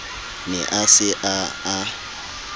ne a se a a